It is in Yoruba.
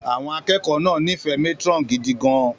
Àwọn akẹ́kọ̀ọ́ náà nífẹ̀ẹ́ matron gidi gan-an